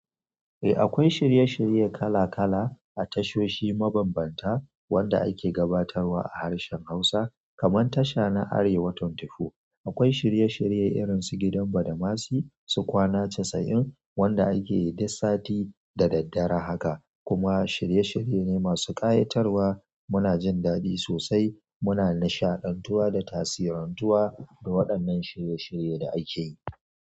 Eh akwai shirye-shirye kala-kala a tashoshi mabambanta wanda ake gabatarwa a harshen Hausa kamar tasha na Arewa24. Akwai shirye-shirye irin su gidan badamasi, su kwana casa'in wanda ake yi duk sati da daddare haka, kuma shirye-shirye ne masu ƙayatarwa muna jin daɗi sosai muna n shaɗantawa da tasirantuwa da waɗannan shirye-shirye da ake yi.